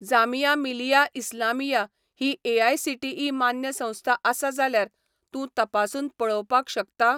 जामिया मिलिया इस्लामिया ही एआयसीटीई मान्य संस्था आसा जाल्यार तूं तपासून पळोवपाक शकता?